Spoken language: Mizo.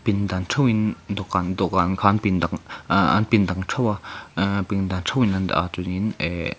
pindan theuhin dawhkan dawhkan khan pindang aa aahh an pindan theuh a aah pindan theuhin an dah a chuan in eehh.